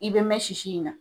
I be mɛn sisi in na.